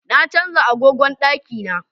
Na canja agogon daki na